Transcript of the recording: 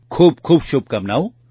ખૂબ ખૂબ શુભકામનાઓ